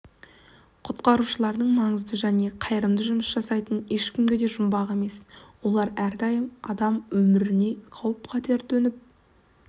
құтқарушылардың маңызды да қайырымды жұмыс жасайтыны ешкімге де жұмбақ емес олар әрдайым адам өміріне қауіп-қатер төніп